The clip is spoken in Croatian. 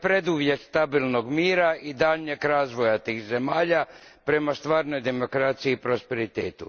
To je preduvjet stabilnog mira i daljnjeg razvoja tih zemalja prema stvarnoj demokraciji i prosperitetu.